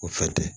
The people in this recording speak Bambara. O fɛn tɛ